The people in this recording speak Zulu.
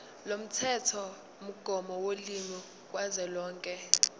lomthethomgomo wolimi kazwelonke